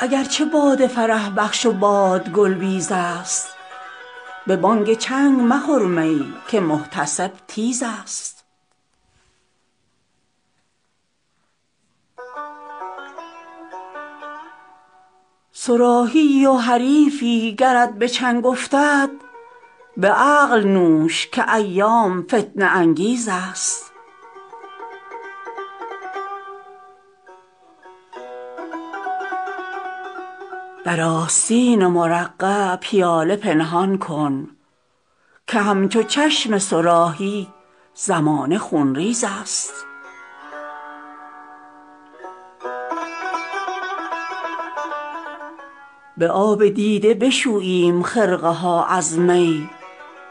اگر چه باده فرح بخش و باد گل بیز است به بانگ چنگ مخور می که محتسب تیز است صراحی ای و حریفی گرت به چنگ افتد به عقل نوش که ایام فتنه انگیز است در آستین مرقع پیاله پنهان کن که همچو چشم صراحی زمانه خونریز است به آب دیده بشوییم خرقه ها از می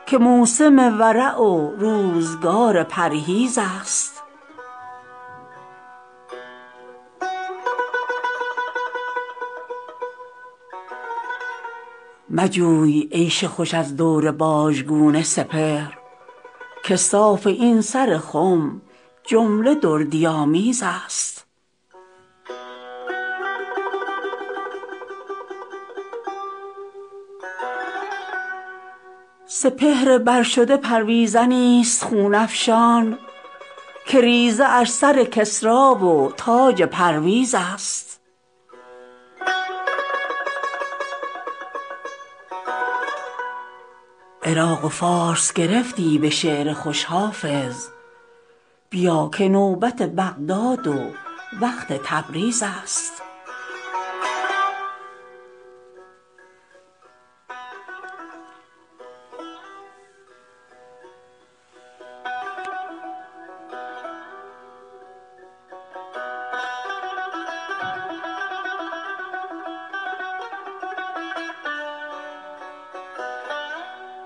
که موسم ورع و روزگار پرهیز است مجوی عیش خوش از دور باژگون سپهر که صاف این سر خم جمله دردی آمیز است سپهر بر شده پرویزنی ست خون افشان که ریزه اش سر کسری و تاج پرویز است عراق و فارس گرفتی به شعر خوش حافظ بیا که نوبت بغداد و وقت تبریز است